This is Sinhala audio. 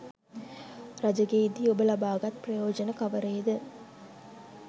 රජ ගෙයි දී ඔබ ලබා ගත් ප්‍රයෝජන කවරේද?